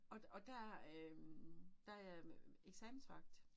Og der og der øh der jeg øh eksamensvagt